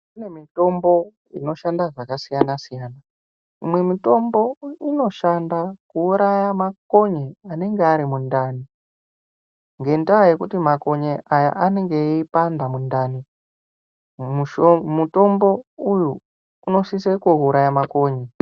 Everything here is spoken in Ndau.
Kune mitombo inoshanda zvakasiyana-siyana imwe mitombo inoshanda kuuraya makonye anenge ari mundani. Ngendaa yekuti makonye aya anenge eipanda mundani, mutombo uyu unosise kuuraya makonye.